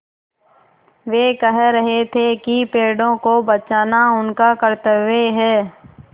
वे कह रहे थे कि पेड़ों को बचाना उनका कर्त्तव्य है